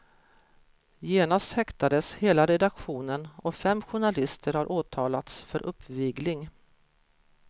Genast häktades hela redaktionen, och fem journalister har åtalats för uppvigling.